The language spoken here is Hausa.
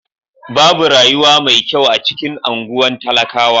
Babu rayuwa mai kyau a cikin anguwan talakawa.